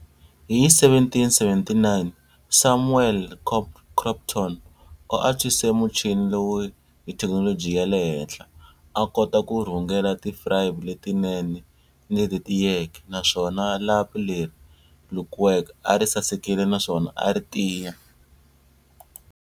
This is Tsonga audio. Hi 1779, Samuel Crompton u antswise muchini lowu hi thekinoloji ya le henhla, a kota ku rhungela tifibre letinene ni leti tiyeke, naswona lapi leri lukiweke a ri sasekile naswona a ri tiya.